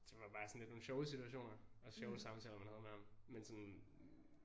Det var bare sådan lidt nogle sjove situationer og sjove samtaler man havde med ham men sådan